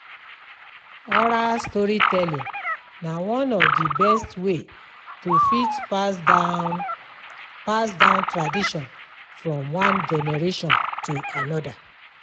Oral storytelling na one of di best way to fit pass down pass down tradition from one generation to another